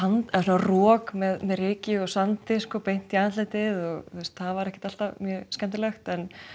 rok með ryki og sandi beint í andlitið það var ekkert alltaf skemmtilegt